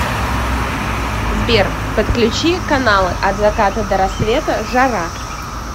сбер подключи каналы от заката до рассвета жара